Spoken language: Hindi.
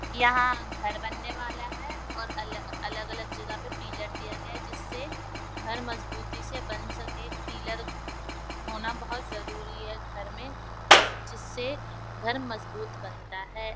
यहाँ घर बनने वाला है और अलग-अलग जगह पे पिलर दिया गया है जिससे घर मजबूती से बन सके पिल्लर होना बहुत जरुरी है घर में जिससे घर मजबुत बनता है।